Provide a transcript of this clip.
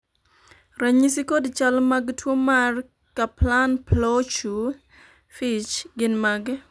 ranyisi kod chal mag tuo mar Kaplan Plauchu Fitch gin mage?